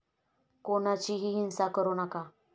कोणाचीही हिंसा करू नका.